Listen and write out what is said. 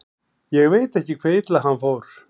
Ég veit ekki hve illa hann fór.